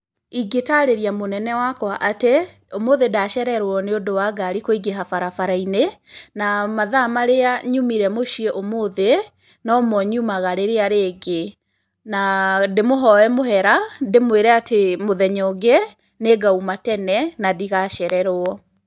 Ingĩtarĩria mũnene wakwa atĩ, ũmũthĩ ndacererwo nĩ ũndũ wa ngari kũingĩha barabara-inĩ na mathaa marĩa nyumire mũciĩ ũmũthĩ, no mo nyumaga rĩrĩa rĩngĩ na ndĩ mũhoe mũhera, ndĩmwĩre atĩ mũthenya ũngĩ nĩ ngauma tene na ndigacererwo.